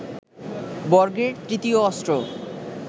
বর্গের তৃতীয় অস্ত্র